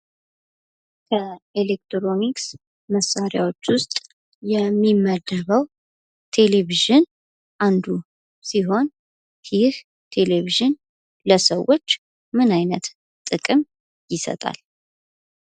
ኤሌክትሮኒክስ መሳርያዎች ውስጥ የሚመደበው ቴሌቪዥን አንዱ ሲሆን ይህ ቴሌቪዥን ለሰዎች ምን አይነት ጥቅም ይሰጣል።